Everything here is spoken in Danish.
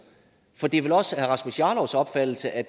det er vel også herre rasmus jarlovs opfattelse at